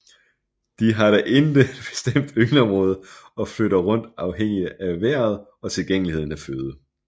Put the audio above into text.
De har da intet bestemt yngleområde og flytter rundt afhængig af vejret og tilgængeligheden af føde